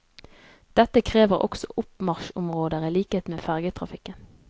Dette krever også oppmarsjområder i likhet med fergetrafikken.